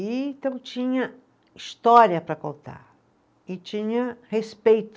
E então tinha história para contar e tinha respeito.